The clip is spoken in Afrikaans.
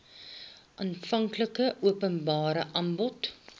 aanvanklike openbare aanbod